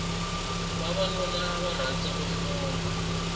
vavanuna ava rhandza ku hlota